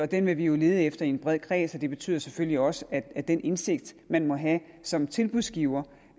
den vil vi jo lede efter i en bred kreds og det betyder selvfølgelig også at den indsigt man må have som tilbudsgiver